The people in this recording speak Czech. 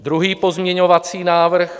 Druhý pozměňovací návrh.